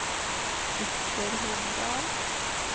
Ytterhogdal